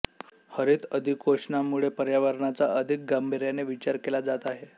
हरित अधिकोषणामुळे पर्यावरणाचा अधिक गांभीर्याने विचार केला जात आहे